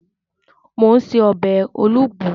Mò ún ṣe ọbẹ̀ olugbu